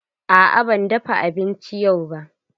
Aa ban dafa abinci yau ba.